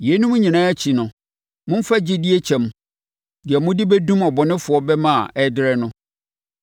Yeinom nyinaa akyi no, momfa gyidie kyɛm, deɛ mode bɛdum ɔbɔnefoɔ bɛma a ɛrederɛ no.